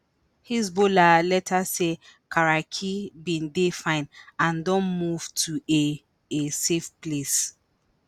hezbollah later say karaki bin dey “fine” and don “move to a a safe place”.